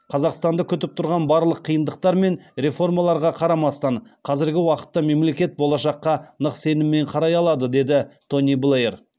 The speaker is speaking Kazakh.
қазақстанды күтіп тұрған барлық қиындықтар мен реформаларға қарамастан қазіргі уақытта мемлекет болашаққа нық сеніммен қарай алады деді тони блэйр